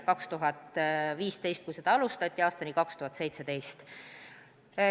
2015. aastal seda alustati ja see kestis aastani 2017.